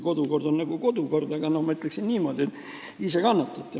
Kodukord on kodukord ja ma ütleksin niimoodi, et ise te nüüd kannatate.